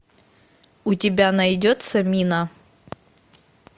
у тебя найдется мина